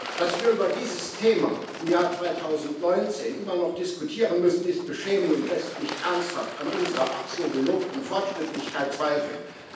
Dass wir über dieses Thema im Jahr 2019 immer noch diskutieren müssen, ist beschämend und lässt mich ernsthaft an unserer ach so gelobten Fortschrittlichkeit zweifeln.